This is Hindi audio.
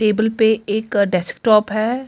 टेबल पे एक डेस्कटॉप हैं अ एक--